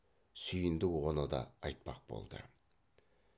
сүйіндік оны да айтпақ болды